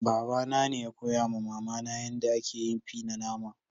Baba na ne ya koya ma mama na yada ake yin fie na nama.